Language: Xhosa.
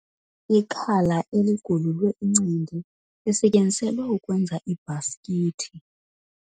Ikhala eligululwe incindi lisetyenziselwe ukwenza iibhasikithi.